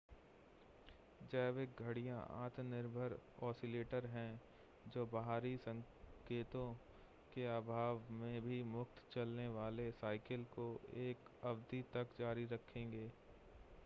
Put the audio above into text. जैविक घड़ियां आत्मनिर्भर ऑसिलेटर हैं जो बाहरी संकेतों के अभाव में भी मुक्त चलने वाले साइकिल को एक अवधि तक जारी रखेंगे